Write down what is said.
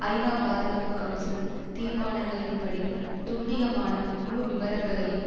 ஐநாபாதுகாப்பு council தீர்மானங்களின்படி துல்லியமான முழு விபரங்களையும்